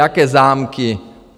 Nějaké zámky?